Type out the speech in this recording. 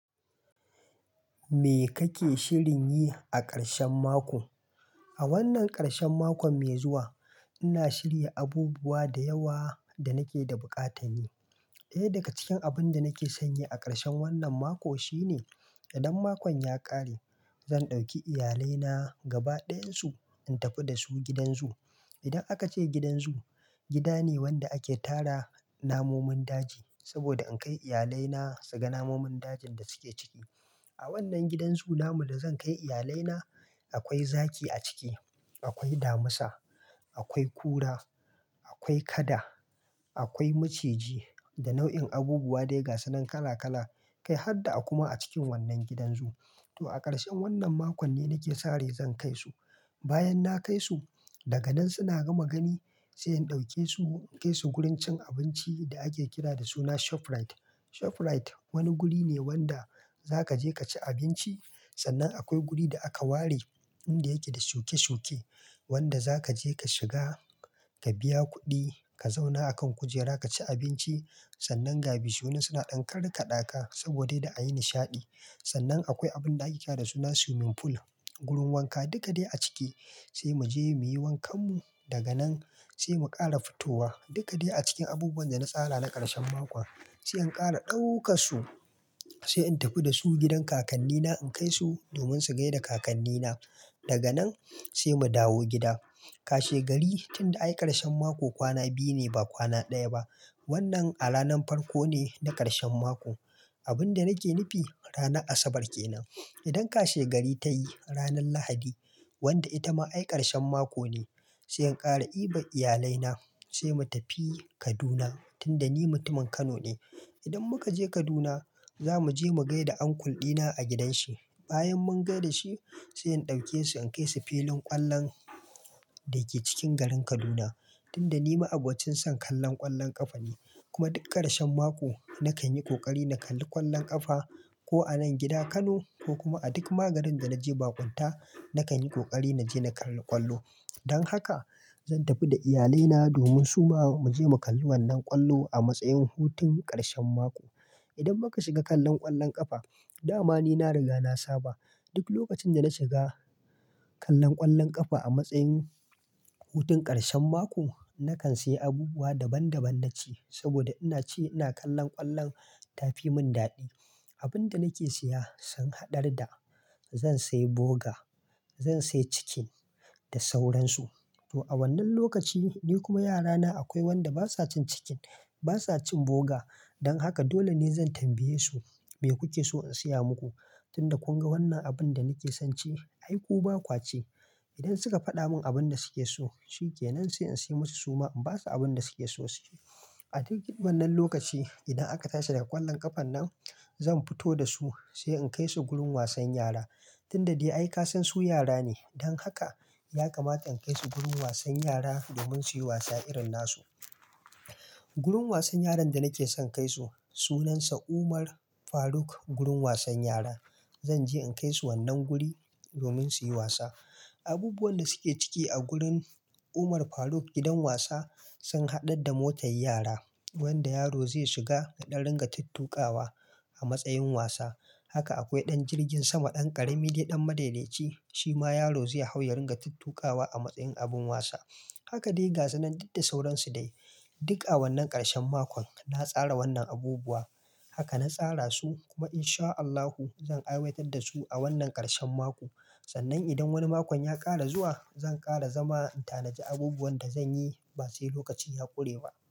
Me kake shirin yi a karshen mako? A wannan karshen makon mai zuwa, ina shirya abubuwa da yawa da nake da buƙata. Ɗaya daga cikin abun da nake son yi a karshen wannan mako shine idan makon ya ƙare, zan ɗauki iyalina gaba ɗayansu in tafi da su gidan zoo. Idan aka ce gidan zoo, gida ne wanda ake tara namomin daji. Saboda in kai iyalai na su ga namomin dajin da suke ciki. A wannan gidan zoo namon da zan kai iyalai na akwai zaki a ciki, akwai damisa, akwai kura, akwai kada, akwai maciji da nau'in abubuwa daiga sunan kala kala kai harda aku ma a cikin wannan gidan zoo. To a karshen wannan makon ne nake sa rai zan kai su. Bayan na kai su, daga nan suna gama gani sai in ɗauke su in kai su wurin cin abinci da ake kira da suna Shoprite. Shoprite wani guri ne wanda zaka je kaci abinci. Sannan akwai guri da aka ware inda yake da shuke shuke, wanda zaka je ka shiga ka biya kuɗi, ka zauna a kan kujera ka ci abinci. Sannan gabi su wanan suna ɗan karra ka ɗaka saboda da a yi nishaɗi. Sannan akwai abun ake kira da suna swimming pool. Wurin wanka dukade a ciki sai mu je muyi wankan mu daga nan sai mu ƙara fitowa. Duka dai a cikin abubuwan da na tsara na karshen mako sai in ƙara ɗauka su sai in tafi da su gidan kakanni na in kai su domin su gaida kakanni na daga nan sai mu dawo gida. Kashe gari tunda ayi karshen mako kwana biyu ne ba kwana ɗaya ba. Wannan a ranar farko ne na karshen mako. Abun da nake nufi ranar Asabar kenan. Idan kashe gari ta yi ranar Lahadi wanda ita ma ayi karshen mako ne sai in ƙara iba iyalai na sai mu tafi Kaduna tunda ni mutumin Kano ne. Idan muka je Kaduna za mu je mu gaida angulɗina a gidan shi. Bayan mun gaida shi sai in ɗauke su in kai su filin ƙwallon da ke cikin garin Kaduna. Tunda ni ma abocin son kallon ƙwallon ƙafa ne kuma duk karshen mako nakan yi ƙoƙari na kalli ƙwallon ƙafa ko a nan gidan Kano ko kuma a duk magarin da naje baƙunta nakan yi kokari na je na kalli ƙwallo. Don haka zan tafi da iyalai na domin suma mu je mu kalli wannan ƙwallo a matsayin hutun karshen mako. Idan muka shiga kallon ƙwallon ƙafa dama ni na riga na saba duk lokacin da na shiga kallon ƙwallon ƙafa a matsayin hutun karshen mako, nakan sayi abubuwa daban daban na ci saboda ina ci ina kallon ƙwallon ta fi mun daɗi. Abunda nake siya sun haɗar da zan sayi boga, zan sayi cikin da sauransu. To a wannan lokaci ni kuma yara na akwai wanda basa cin cikin basa cin boga. Don haka dole ne zan tambaye su me kuke so in siya muku? Tunda kun ga wannan abun da nake son ci, aiku ba ƙwaci. Idan suka faɗa mun abunda suke so cike nan sai in sai musu suma in basu abunda suke so su ci. A duk wannan lokaci idan aka tashi daga ƙwallon ƙafan nan zan fito da su sai in kai su gurin wasan yara. Tunda dai ai kasan su yara ne don haka yakamata in kai su gurin wasan yara domin su yi wasa irin nasu. Gurun wasan yaran da nake son kai su sunansa Umar Faruk gurin wasan yara. Zanje in kai su wannan guri domin su yi wasa. Abubuwan da suke ciki a gurin Umar Faruk gidan wasa sun haɗar da motar yara wanda yaro zai shiga daɗan ringa ta tuƙawa a matsayin wasa. Haka akwai ɗan jirgin sama ɗan ƙarami dai ɗan madaidaici shi ma yaro zai hau ya ringa tuƙawa a matsayin abun wasa. Haka dai ga su nan ɗita sauransu dai. Duk a wannan karshen makon na tsara wannan abubuwa. Haka na tsara su kuma insha Allahu zan aiwatar da su a wannan karshen mako. Sannan idan wani makon ya ƙare zuwa zan ƙara zama in tanaji abubuwan da zanyi ba sai lokacin ya ƙure ba.